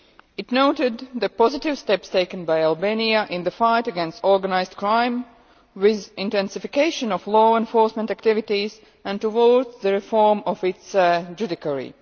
It noted the positive steps taken by Albania in the fight against organised crime, with an intensification of law enforcement activities, and towards the reform of its judiciary.